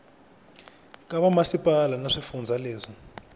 ka vamasipala na swifundza leswi